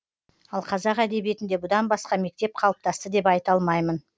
ал қазақ әдебиетінде бұдан басқа мектеп қалыптасты деп айта алмаймын